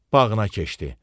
Bağına keçdi.